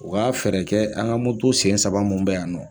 U ka fɛɛrɛ kɛ sen saba mun bɛ yan